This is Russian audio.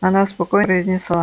она спокойно произнесла